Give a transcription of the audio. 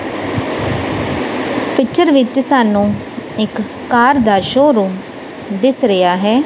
Picture ਵਿੱਚ ਸਾਨੂੰ ਇੱਕ ਕਾਰ ਦਾ ਸ਼ੋ ਰੂਮ ਦਿਸ ਰਿਹਾ ਹੈ।